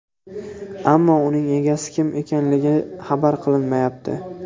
Ammo uning egasi kim ekanligi xabar qilinmayapti.